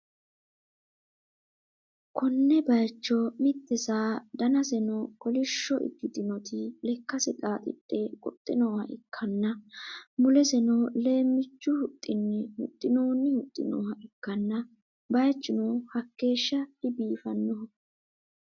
konne bayicho mitte saa danaseno kolishsho ikkitinoti lekkase xaaxidhe goxxe nooha ikkanna, muleseno leemmichu huxxinni huxxi'noonni huxxi nooha ikkanna, bayichuno hakkeehsha dibiifannoho.